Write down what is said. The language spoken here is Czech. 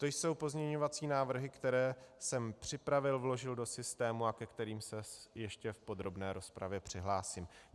To jsou pozměňovací návrhy, které jsem připravil, vložil do systému a ke kterým se ještě v podrobné rozpravě přihlásím.